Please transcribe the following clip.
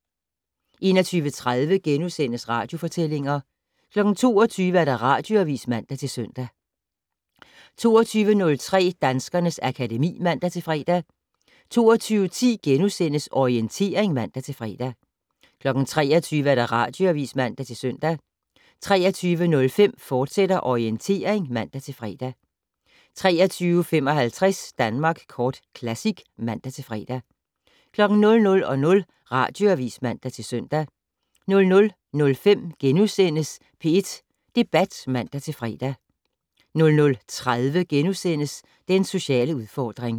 21:30: Radiofortællinger * 22:00: Radioavis (man-søn) 22:03: Danskernes akademi (man-fre) 22:10: Orientering *(man-fre) 23:00: Radioavis (man-søn) 23:05: Orientering, fortsat (man-fre) 23:55: Danmark Kort Classic (man-fre) 00:00: Radioavis (man-søn) 00:05: P1 Debat *(man-fre) 00:30: Den sociale udfordring *